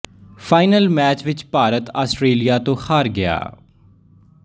final match ਵਿੱਚ Bharat Australia ਤੋਂ ਹਾਰ ਗਿਆ